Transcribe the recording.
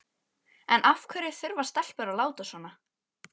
En af hverju þurfa stelpur að láta svona?